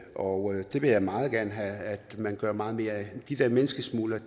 og det vil jeg meget gerne have at man gør meget mere de der menneskesmuglere